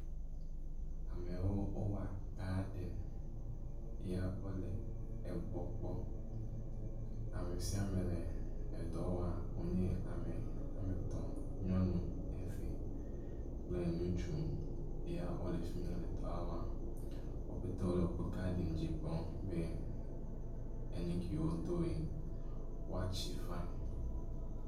Amewo wowɔa gaɖin yaw ole egbɔ kpɔ, ame sia me le edɔ wɔa, wonye ame ame etɔ̃, nyɔnu eve kple ŋutsu ya wole fi mie, wole edɔ wɔa. woƒete wole woƒe gaɖin dzi kpɔ be enu ke wodoe woatsi fain.